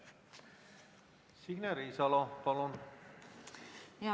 Signe Riisalo, palun!